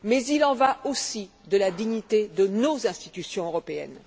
Mais il en va aussi de la dignité de nos institutions européennes.